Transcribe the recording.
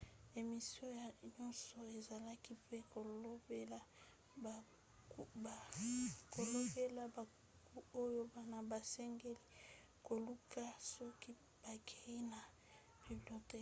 emission nyonso ezalaki mpe kolobela babuku oyo bana basengeli koluka soki bakei na biblioteke